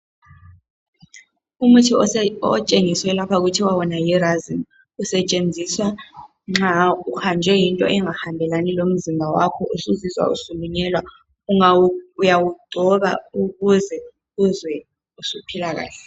Umuthi otshengiswe lapha uthiwa yi Razene. Usetshenziswa nxa wawuhanjwe yinto engahambelani lomzimba wakho usuzizwa usulunyelwa. Uyawugcoba ukuze uzwe usuphila kahle.